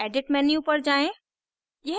edit menu पर जाएँ